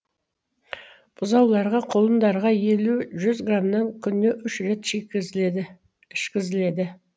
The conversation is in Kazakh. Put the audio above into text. бұзауларға құлындарға елу жүз грамнан күніне үш рет ішкізіледі